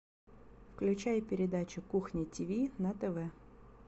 включай передачу кухня тиви на тв